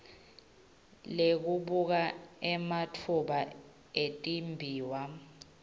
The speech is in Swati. lekubuka ematfuba etimbiwa